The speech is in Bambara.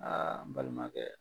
Aa n balimakɛ